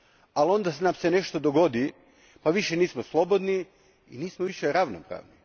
Ali onda nam se nešto dogodi, pa više nismo slobodni i nismo više ravnopravni.